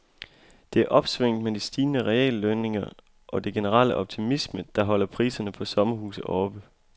Det er opsvinget med de stigende reallønninger og den generelle optimisme, der holder priserne på sommerhuse oppe.